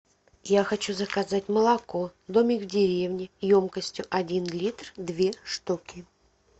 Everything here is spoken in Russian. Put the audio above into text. я хочу заказать молоко домик в деревне емкостью один литр две штуки